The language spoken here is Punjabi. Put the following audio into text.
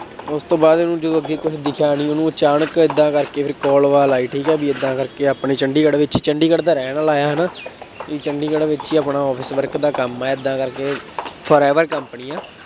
ਉਸ ਤੋਂ ਬਾਅਦ ਉਹਨੂੰ ਜਦੋਂ ਅੱਗੇ ਕੁੱਛ ਦਿਖਿਆ ਨਹੀਂ, ਉਹਨੂੰ ਅਚਾਨਕ ਏਦਾਂ ਕਰਕੇ ਫੇਰ call ਵਾਲ ਆਈ ਠੀਕ ਹੈ ਬਈ ਏਦਾਂ ਕਰਕੇ ਆ ਆਪਣੀ ਚੰਡੀਗੜ੍ਹ ਵਿੱਚ ਚੰਡੀਗੜ੍ਹ ਦਾ ਰਹਿਣਾ ਵਾਲਾ ਹੈ, ਹੈ ਨਾ, ਅਤੇ ਚੰਡੀਗੜ੍ਹ ਵਿੱਚ ਹੀ ਆਪਣਾ office work ਦਾ ਕੰਮ ਹੈ, ਏਦਾਂ ਕਰਕੇ forever company ਹੈ।